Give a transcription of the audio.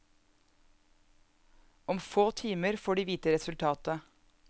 Om få timer får de vite resultatet.